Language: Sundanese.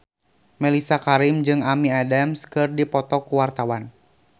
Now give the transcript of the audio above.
Mellisa Karim jeung Amy Adams keur dipoto ku wartawan